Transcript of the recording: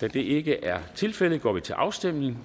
da det ikke er tilfældet går vi til afstemning